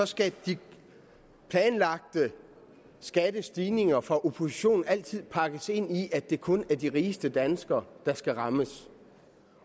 skal de planlagte skattestigninger fra oppositionen altid pakkes ind i at det kun er de rigeste danskere der skal rammes